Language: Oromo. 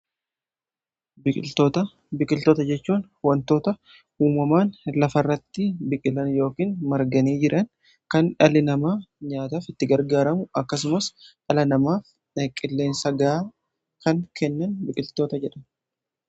biqiltoota jechuun wantoota uumamaan lafa irratti biqilan yookin marganii jiran kan dhalli namaa nyaataaf itti gargaaramu akkasumas dhala namaaf qilleensa ga'aa kan kennan biqiltoota jedhamu.